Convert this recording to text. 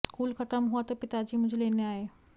school ख़त्म हुआ तो पिताजी मुझे लेने आये